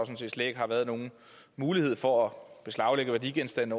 set slet ikke har været nogen mulighed for at beslaglægge værdigenstande